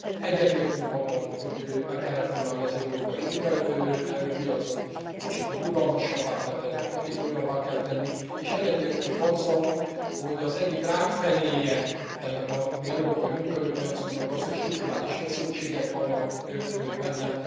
Egyetértünk abban, hogy meg kell reformálni az európai munkaerőpiacot, hogy rugalmasabbá kell tenni, hogy hatékonyabbá kell tenni, és egyetértünk azzal, hogy az egyik rákfenéje ennek a mi európai munkaerőpiacunknak az, hogy strukturális feszültségek vannak benne.